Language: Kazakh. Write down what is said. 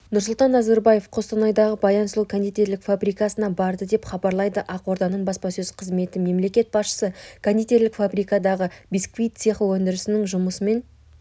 нұрсұлтан назарбаев қостанайдағы баян сұлу кондитерлік фабрикасына барды деп хабарлайды ақорданың баспасөз қызметі мемлекет басшысы кондитерлік фабрикадағы бисквит цехы өндірісінің жұмысымен